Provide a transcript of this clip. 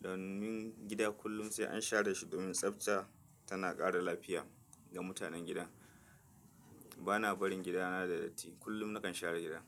Don min gida kullum sai an share shi domin tsafta tana ƙara lafiya ga mutanen gida. Bana barin gida na da datti, kullum nakan share gida.